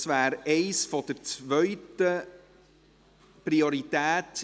Das wäre eines der JGK-Geschäfte von zweiter Priorität.